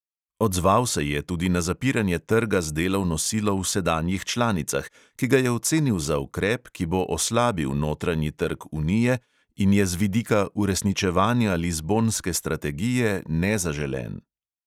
Odzval se je tudi na zapiranje trga z delovno silo v sedanjih članicah, ki ga je ocenil za ukrep, ki bo oslabil notranji trg unije in je z vidika uresničevanja lizbonske strategije nezaželen.